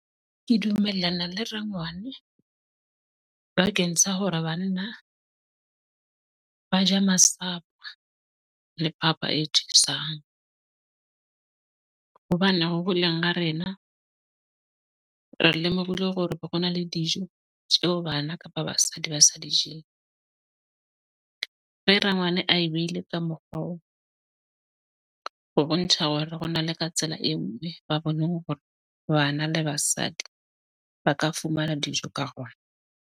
Ke dumellana le rangwane bakeng sa hore banna ba ja masapo le papa e hobane ho ho leng ga rena re lemogile hore ho na le dijo tje bana kapa basadi ba sa di jeng. Re rangwane a e behile tsa mokgwa ona ho bontjha hore ho na le ka tsela e nngwe ba bone hore bana le basadi ba ka fumana dijo ka gona.